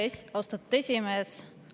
Aitäh, austatud esimees!